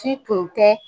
Si tun tɛ